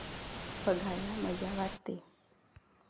बघायला मजा वाटते.